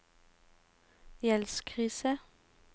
gjeldskrise